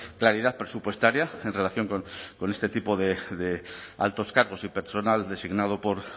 claridad presupuestaria en relación con este tipo de altos cargos y personal designado por